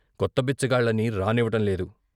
కొత్త బిచ్చగాళ్ళని రానివ్వటంలేదు.